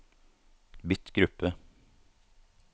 bytt gruppe